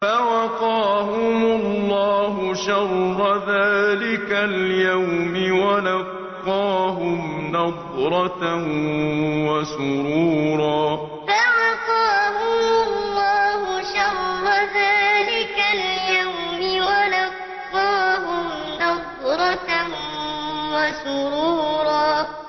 فَوَقَاهُمُ اللَّهُ شَرَّ ذَٰلِكَ الْيَوْمِ وَلَقَّاهُمْ نَضْرَةً وَسُرُورًا فَوَقَاهُمُ اللَّهُ شَرَّ ذَٰلِكَ الْيَوْمِ وَلَقَّاهُمْ نَضْرَةً وَسُرُورًا